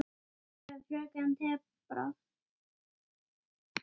Hann er lengi að tala.